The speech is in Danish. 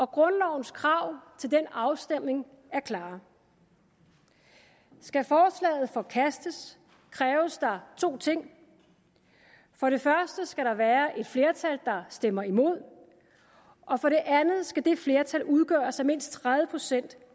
grundlovens krav til den afstemning er klare skal forslaget forkastes kræves der to ting for det første skal der være et flertal der stemmer imod for det andet skal det flertal udgøres af mindst tredive procent